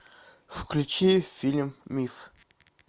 включи фильм миф